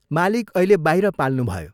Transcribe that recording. "मालिक अहिले बाहिर पाल्नुभयो।